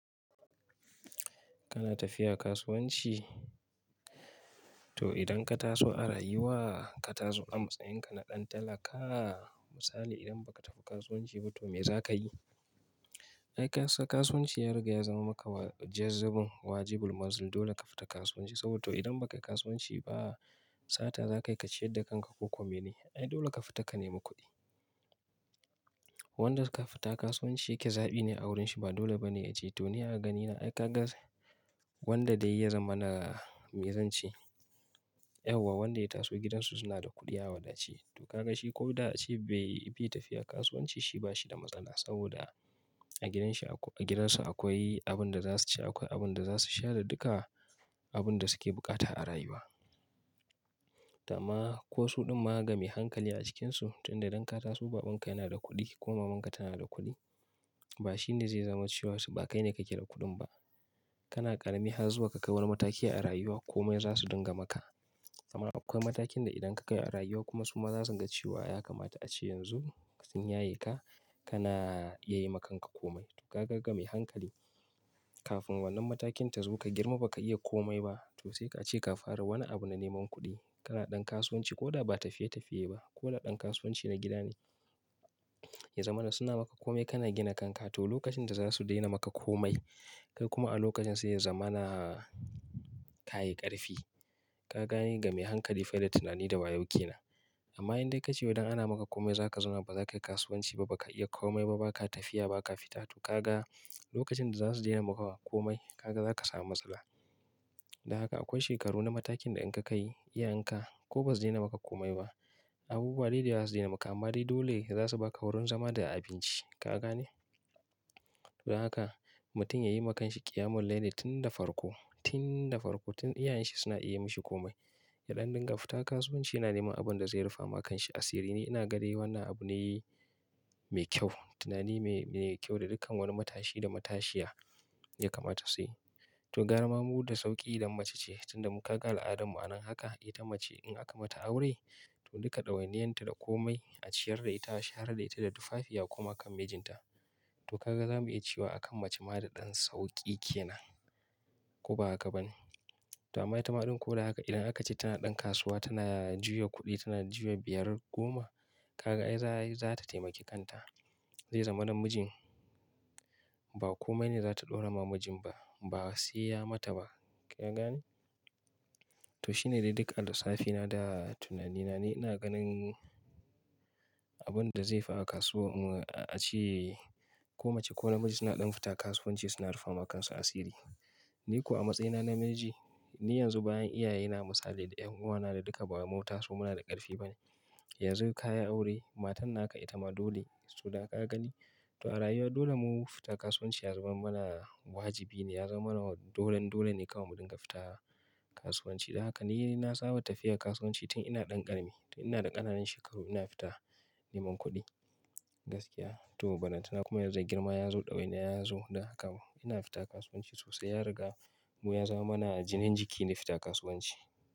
Kana tafiya kasuwanci to idan ka taso a rayuwa, ka taso a matsayinka na ɗan talaka, misali idan ba ka tafi kasuwanci ba to me za ka yi? Ai kasa kasuwanci ya riga ya zama maka wajezzabin wajibul mazil dole ka fita kasuwanci saboda to idan ba ka yi kasuwanci ba sata za ka yi ka ciyar da kanka ko kome ne? Ai dole ka fita ka nemi kuɗi. Wanda ka fita kasuwanci kezaɓi ne a wurin shi ba dole ba ne a ce to ni a ganina ai ka ga wanda dai ya zama na mezanci. Yauwa wanda ya taso gidansu suna da kuɗi awadace to ka ga shi ko da a ce bai fi yi tafiya kasuwanci shi ba shi da matsala saboda a gidan shi a ko a gidan su akwai abin da za su ci akwai abin da za su sha da duka abun da suke buƙata a rayuwa. Tama ko su ɗan ma ga mai hankali a cikin su tunda idan ka taso babanka yana da kuɗi ko mamanka tana da kuɗi ba shi ne zai zama cewa su ba kai ne ka ke da kuɗin ba. Kana ƙarami har zuwa ka kai wani mataki a rayuwa komai za su dinga maka. Amma akwai matakin da idan ka kai a rayuwa kuma su ma za su ga cewa ya kamata a ce yanzu sun yaye ka kana iya yi makanka komai to ka ga ga mai hankali kafin wannan matakin ta zo ka girma ba ka iya komai ba to sai ka ce ka fara wani abu na neman kuɗi. Kana ɗan kasuwanci ko da ba tafiye tafiye ba ko na ɗan kasuwanci na gida ne ya zama na suna maka kome kana gina kanka to lokacin da za su daina maka komai kai kuma a lokacin sai ya zama na ka yi ƙarfi. Ka gani ga mai hankali fada tunani da wayauke na. Amma in dai ka ce idan ana maka komai za ka zauna ba za ka yi kasuwanci ba, ba ka iya komai ba, ba ka tafiya ba ka fita to ka ga lokacin da za su daina maka komai ka ga za ka samu matsala. Da haka akwai shekaru na matakin da in ka kai iya in ka ko bazu daina maka komai ba. Abubuwa dai dai za su daina maka amma dai dole za su ba ka wurin zama da abinci. Ka gane? To dan haka mutum ya yi ma kanshi ƙiyamul laili tunda farko, tin da farko tun iyayen shi suna iya mishi komai. Yaɗan dinga fita kasuwanci yana neman abin da zai rufa ma kanshi asiri ne. Ina gane wannan abu ne mai kyau. Tunani mai, mai kyau da dukkan wani matashi da matashiya ya kamata su yi. To gara ma mu da sauƙi idan mace ce tunda muka ga al'adar mu anan haka ita mace in aka mata aure to duka ɗawainiyarta da komai a ciyar da ita, share da ita, da tufafi ya koma kan mijinta. To ka ga za mu iya cewa a kan mace ma da ɗan sauƙi ke nan ko baha bane. Tama ita ma ɗan ko da haka idan aka ce tana ɗan kasuwa tana juya kuɗi tana juya biyar goma ka ga ai za, za ta taimaki kanta. Zai zama na mijin ba komai ne za ta ɗora ma mijin ba si ya mata ba. Ka gane? To shine dai dukkan lissafina da tunanina ne. Ina ganin abun da zai fa'a kasuwa in a ce ko mace ko namiji suna ɗan fita kasuwanci suna rufa ma kansu asiri. Ni ko a matsayina na miji, ni yanzu bayan iyaye na misali da 'yan uwana da duka bawai mun tasu muna da ƙarfi ba ne. Yanzu ka yi aure, matan naka ita ma dole su, ka gani? To a rayuwa dole mu fita kasuwanci ya zama mana wajibi ne ya zama mana dolan dole ne kawai mu dinga fita kasuwanci. Da haka ni na saba tafiya kasuwanci tun ina ɗan ƙarami. To ina da ƙananan shekaru ina fita neman kuɗi gaskiya. To balanta na kuma yanzu da girma ya zo ɗawaina ya zo da haka ina fita kasuwanci sosai ya riga mu ya zama mana jinin jiki ni fita kasuwanci.